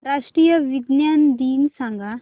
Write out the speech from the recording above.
राष्ट्रीय विज्ञान दिन सांगा